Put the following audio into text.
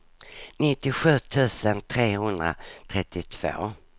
nittiosju tusen trehundratrettiotvå